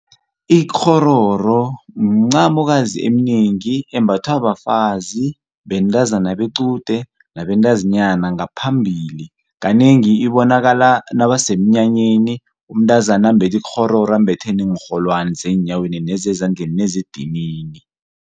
Ikghororo mncamokazi eminingi embathwa bafazi, bentazana bequde nabentazinyana ngaphambili kanengi ibonakala nabasemnyanyeni umntazana ambethe ikghororo ambethe neenrholwani zeenyaweni nezezandleni nezedinini.